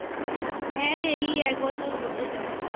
হ্যাঁ রে এই এক বছর হতে যায়